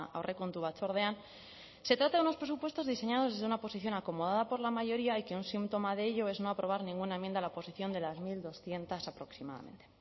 aurrekontu batzordean se trata de unos presupuestos diseñados desde una posición acomodada por la mayoría y que un síntoma de ello es no aprobar ninguna enmienda a la oposición de las mil doscientos aproximadamente